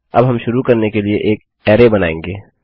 अब हम शुरू करने के लिए एक अरै बनाएँगे